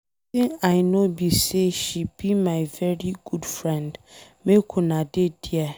Wetin I know be say she be my very good friend. Make una dey there